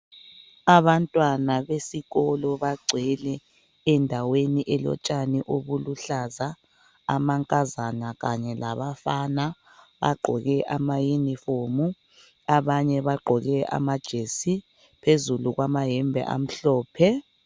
Abantwana besikolo bagcwele endaweni elotshani obuluhlaza. Amankazana kanye labafana bagqoke ama uniform. Abanye bagqoke amajesi phezulu kwamayembe amhlophe.